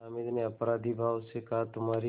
हामिद ने अपराधीभाव से कहातुम्हारी